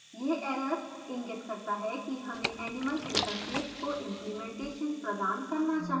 यह error इंगित करता है कि हमें animal interface को implementation प्रदान करना चाहिए